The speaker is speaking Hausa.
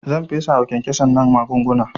Zan fesawa kyankyasan nan magunguna